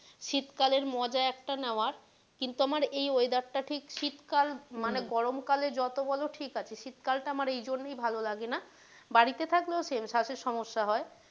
শীতকালের মজা একটা নেওয়ার কিন্তু আমার এই weather টা ঠিক শীতকাল মানে গরম কালের যত বলো ঠিক আছে শীত কাল টা এইজন্যেই আমার ভালো লাগে না বাড়িতে থাকলেও same শ্বাসের সমস্যা হয়।